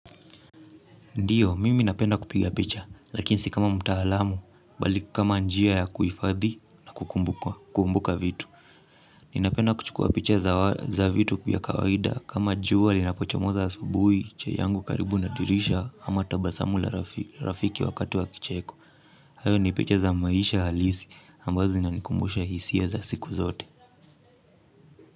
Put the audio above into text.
Ndiyo, mimi napenda kupiga picha, lakini si kama mtaalamu, bali kama njia ya kuhifadhi na kukumbuka vitu. Ninapenda kuchukua picha za vitu kuyakawaida kama jua linapochomoza asubuhi chai yangu karibu nadirisha ama tabasamu la rafiki wakati wa kicheko. Hayo ni picha za maisha halisi ambazo zinanikumbusha hisia za siku zote.